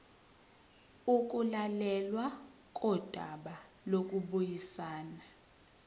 ukulalelwa kodaba lokubuyisana